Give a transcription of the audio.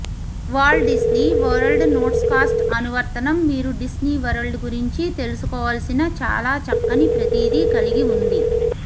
Walt Disney World Notescast అనువర్తనం మీరు Disney World గురించి తెలుసుకోవాల్సిన చాలా చక్కని ప్రతిదీ కలిగి ఉంది